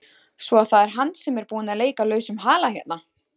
Svo að það er hann sem er búinn að leika lausum hala hérna!